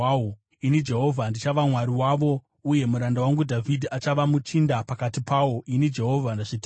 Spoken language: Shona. Ini Jehovha ndichava Mwari wavo, uye muranda wangu Dhavhidhi achava muchinda pakati pawo. Ini Jehovha ndazvitaura.